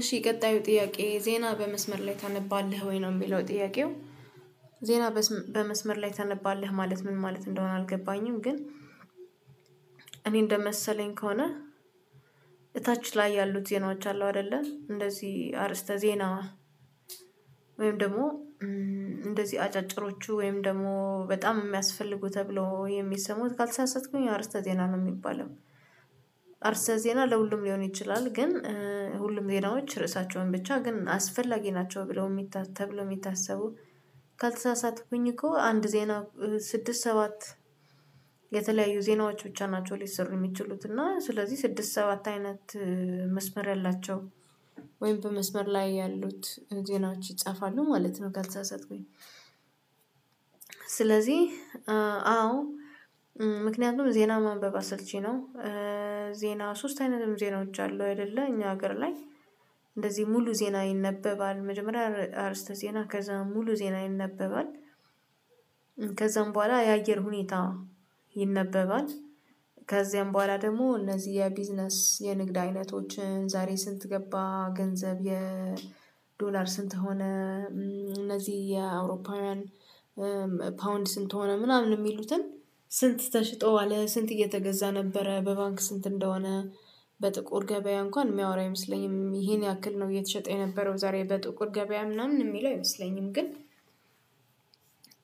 እሺ ቀጣዩ ጥያቄ ''ዜና በመስመር ላይ ታነባለህ ወይ?' ነው የሚለው ጥያቄው ዜና በመስመር ላይ ታነባለህ ማለት ምን ማለት እንደሆነ አልገባኝም ግን እኔ እንደመሰለኝ ከሆነ እታች ላይ ያሉት ዜናዎች አሉ አይደለ እንደዚህ አርዕስተ ዜና ወይም ደግሞ እንደዚህ አጫጭሮቹ ወይም ደግሞ በጣም የሚያስፈልጉ ተብሎ የሚሰሙት ካልተሳሳትኩኝ አርዕስተ ዜና ነው የሚባለው አርዕስተ ዜና ለሁሉም ሊሆን ይችላል ግን ሁሉም ዜናዎች ርዕሳቸውን ብቻ ግን አስፈላጊ ናቸው ብለው ተብለው የሚታሰቡ ካልተሳሳትኩኝ እኮ አንድ ዜና ስድስት ሰባት የተለያዩ ዜናዎች ብቻ ናቸው ሊሰሩ የሚችሉት እና ስለዚህ ስድስት ሰባት አይነት መስመር ያላቸው ወይም በመስመር ላይ ያሉት ዜናዎች ይጻፋሉ ማለት ነው ገልጻ ሰጥኩኝ ስለዚህ አዎ ምክንያቱም ዜና ማንበብ አሰልቺ ነው። ዜና ሶስት አይነትም ዜናዎች አሉ አይደለ እኛ ሀገር ላ፣ እንደዚህ ሙሉ ዜና ይነበባል መጀመሪያ አርዕስተ ዜና ከዛ ሙሉ ዜና ይነበባል ከዛም በኋላ የአየር ሁኔታ ይነበባል ከዚያም በኋላ ደግሞ እነዚህ የቢዝነስ የንግድ አይነቶችን ዛሬ ስንት ገባ ገንዘብ የዶላር ስንት ሆነ እነዚህ የአውሮፓውያን ፓውንድ ስንት ሆነ ምናምን የሚሉትን ስንት ተሽጧል ስንት እየተገዛ ነበረ በባንክ ስንት እንደሆነ በጥቁር ገበያ እንኳን የሚያወራ አይመስለኝም ይሄን ያክል ነው እየተሸጠ የነበረው ዛሬ በጥቁር ገበያ ምናምን የሚለው አይመስለኝም ግን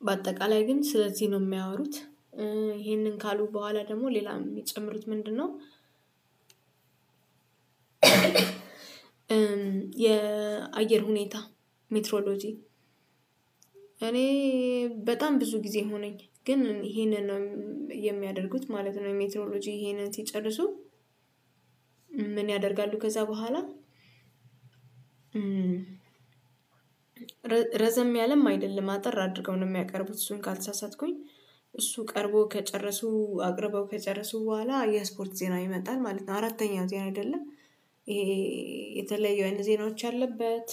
በአጠቃላይ ግን ስለዚህ ነው የሚያወሩት ይሄንን ካሉ በኋላ ደግሞ ሌላ የሚጨምሩት ምንድነው የአየር ሁኔታ ሜትሮሎጂ እኔ በጣም ብዙ ጊዜ ሆነኝ ግን ይሄንን ነው የሚያደርጉት ማለት ነው ሜትኖሎጂ ይሄንን ሲጨርሱ ምን ያደርጋሉ ከዛ በኋላ ረዘም ያለም አይደለም አጠር አድርገው ነው የሚያቀርቡት እሱን ካልተሳሳትኩኝ እሱ ቀርቦ ከጨረሱ አቅርበው ከጨረሱ በኋላ የስፖርት ዜና ይመጣል ማለት ነው። አራተኛው ዜና አይደለም ይሄ የተለየ አይነ ዜናዎች አለበት።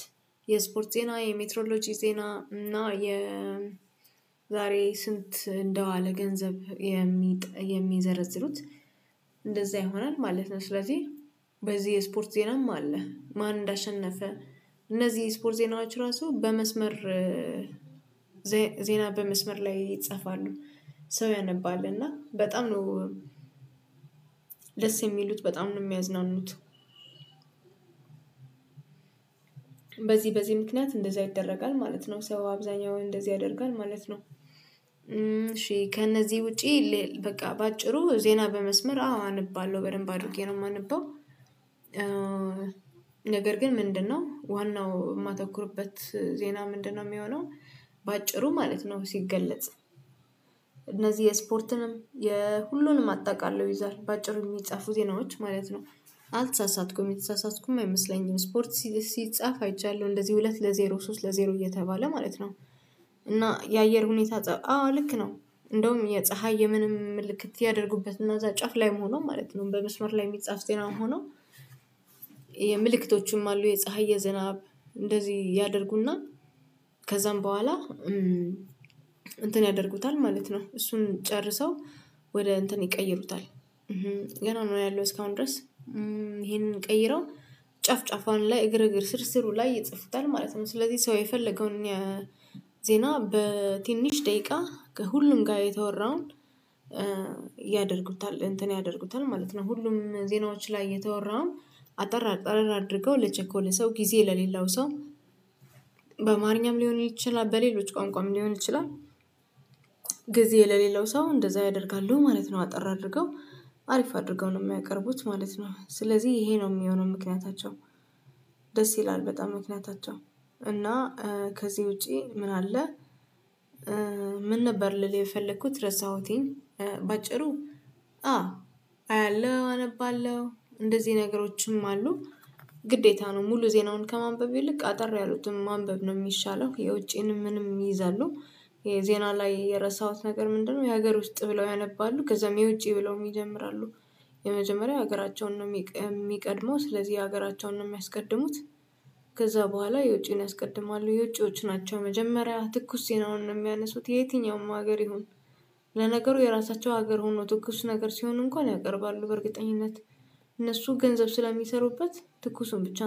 የስፖርት ዜና፤ የሜትሮሎጂ ዜና እና የዛሬ ስንት እንደዋለ ገንዘብ የሚዘረዝሩት እንደዛ ይሆናል ማለት ነው ስለዚህ በዚህ የስፖርት ዜናም አለ ማን እንዳሸነፈ እነዚህ ስፖር ዜናዎች ራሱ በመስመር ዜና በመስመር ላይ ይጻፋሉ ሰው ያነባል እና በጣም ነው ደስ የሚሉት በጣም ነው የሚያዝናኑት በዚህ በዚህ ምክንያት እንደዛ ይደረጋል ማለት ነው። ሰው አብዛኛው እንደዚህ ያደርጋል ማለት ነው። እሺ ከእነዚህ ውጪ ይል በቃ በአጭሩ ዜና በመስመር አዎ አነባለሁ በደንብ አድርጌ ነው የማነበው ነገር ግን ምንድነው ዋናው የማተኩሩበት ዜና ምንድነው የሚሆነው በአጭሩ ማለት ነው ሲገለጽ እነዚህ የስፖርትንም የሁሉንም አጣቃሎ ይዛል በአጭሩ የሚጻፉ ዜናዎች ማለት ነው አልተሳሳትኩም የተሳሳትኩም አይመስለኝም ስፖርት ሲጻፍ አይቻለሁ። እንደዚህ ሁለት ለዜሮ ሶስት ለዜሮ እየተባለ ማለት ነው እና የአየር ሁኔታ ፀብ አዎ ልክ ነው እንደውም የፀሀይ የምንም ምልክት ያደርጉበት እና እዛ ጫፍ ላይ መሆኑ ማለት ነው በመስመር ላይ የሚጻፍ ጤና መሆኑ የምልክቶቹም አሉ የፀሀይ የዘናብ እንደዚህ ያደርጉና ከዛም በኋላ እንትን ያደርጉታል ማለት ነው እሱን ጨርሰው ወደ እንትን ይቀይሩታል ገና ነው ያለው እስካሁን ድረስ ይሄንን ቀይረው ጨፍ ጨፋን ላይ እግር እግር ስር ስሩ ላይ ይጽፉታል ማለት ነው ስለዚህ ሰው የፈለገውን ዜና በትንሽ ደቂቃ ከሁሉም ጋር የተወራውን ያደርጉታል እንትን ያደርጉታል ማለት ነው። ሁሉም ዜናዎች ላይ የተወራውን አጠር አጠር አድርገው ለቸኮለ ሰው ጊዜ ለሌላው ሰው በአማርኛም ሊሆን ይችላል በሌሎች ቋንቋም ሊሆን ይችላል ጊዜ የሌለው ሰው እንደዛ ያደርጋሉ ማለት ነው። አጠር አድርገው አሪፍ አድርገው ነው የሚያቀርቡት ማለት ነው ስለዚህ ይሄ ነው የሚሆነው ምክንያታቸው ደስ ይላል በጣም ምክንያታቸው እና ከዚህ ውጪ ምን አለ ምን ነበር ልልህ የፈለኩት ረሳሁትኝ በአጭሩ አያለሁ አነባለሁ እንደዚህ ነገሮችም አሉ ግዴታ ነው ሙሉ ዜናውን ከማንበብ ይልቅ አጠር ያሉትን ማንበብ ነው የሚሻለው የውጪንም ምንም ይይዛሉ የዜና ላይ የረሳሁት ነገር ምንድነው የሀገር ውስጥ ብለው ያነባሉ ከዛም የውጪ ብለውም ይጀምራሉ የመጀመሪያ ሀገራቸውን ነው የሚቀድመው፣ ስለዚህ ሀገራቸውን ነው የሚያስቀድሙት ከዛ በኋላ የውጪን ያስቀድማሉ የውጪዎች ናቸው መጀመሪያ ትኩስ ዜናን ነው የሚያነሱት የትኛውም ሀገር ይሁን ለነገሩ የራሳቸው ሀገር ሆኖ ትኩስ ነገር ሲሆን እንኳን ያቀርባሉ በእርግጠኝነት እነሱ ገንዘብ ስለሚሰሩበት ትኩሱን ብቻ